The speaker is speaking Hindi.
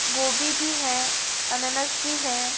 गोभी भी है अनानास भी है।